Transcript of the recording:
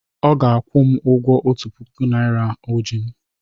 Ọ ga-akwụ m ụgwọ otu puku naira o ji m.